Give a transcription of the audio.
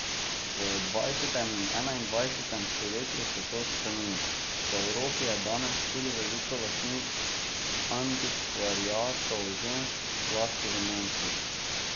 V dvajsetem in enaindvajsetem stoletju se to spreminja, po Evropi je danes tudi veliko lastnic antikvariatov žensk, zlasti v Nemčiji.